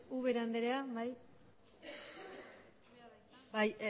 ubera andrea bai bai